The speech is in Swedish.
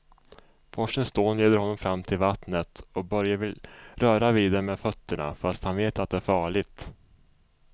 Forsens dån leder honom fram till vattnet och Börje vill röra vid det med fötterna, fast han vet att det är farligt.